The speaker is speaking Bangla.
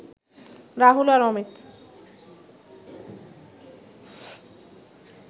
রাহুল আর অমিত